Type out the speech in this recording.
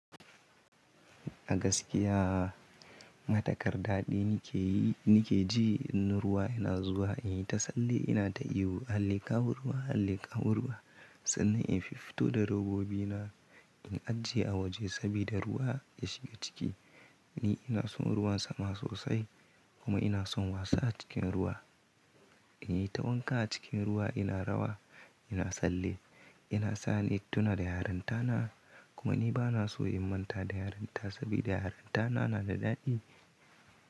A gaskiya matukar dadi nike yi nike ji in ruwa yana zuwa in yi ta tsalle ina ta ihu Allah le kawo ruwa Allah le kawo ruwa sannan in fiffito da robobi na in ajiye a waje sabida ruwa ya shiga ciki. Ni ina son ruwan sama sosai kuma ina son wasa cikin ruwa. In yi ta wanka a cikin ruwa ina rawa ina tsalle yana sa ni intuna da yarinta na kuma ni bana so in manta da yarinta sabida yarinta na na da dadi.